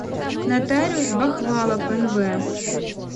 нотариус бахвалов нв